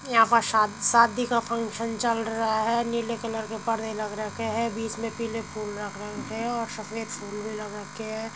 यहाँ पर सा शादी का फ़ंक्शन चल रहा है। नीले कलर के परदे लग रखे हैं। बीच में पीले फूल लग रखे हैं और सफेद फूल भी लग रखे हैं।